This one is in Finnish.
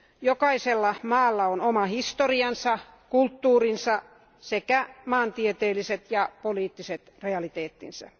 Jokaisella maalla on oma historiansa, kulttuurinsa sekä maantieteelliset ja poliittiset realiteettinsa.